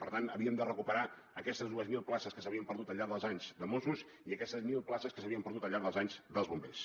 per tant havíem de recuperar aquestes dues mil places que s’havien perdut al llarg dels anys de mossos i aquestes mil places que s’havien perdut al llarg dels anys dels bombers